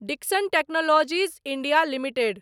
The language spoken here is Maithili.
Dixon technologies India limited